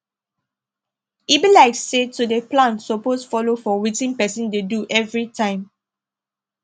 e be like say to dey plan suppose follow for wetin person dey do everytime